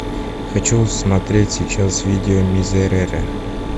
хочу смотреть сейчас видео мизерере